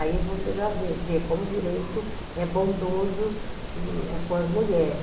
Aí você já vê vê como o direito é bondoso com as mulheres.